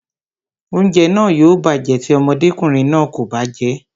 Oúnjẹ náà yóò bàjẹ́ tí ọmọdékùnrin náà kò bá jẹ́ẹ́